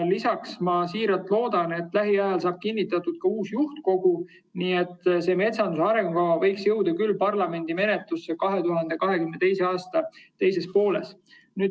Lisaks ma siiralt loodan, et lähiajal saab kinnitatud ka uus juhtkogu, nii et metsanduse arengukava võiks küll jõuda parlamendi menetlusse 2022. aasta teises pooles.